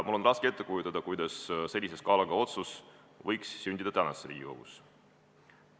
Mul on raske ette kujutada, kuidas sellise kaaluga otsus võiks sündida praeguses Riigikogus.